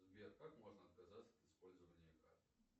сбер как можно отказаться от использования карты